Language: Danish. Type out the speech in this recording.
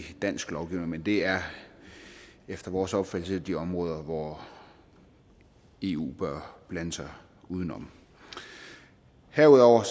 dansk lovgivning men det er efter vores opfattelse de områder hvor eu bør blande sig udenom herudover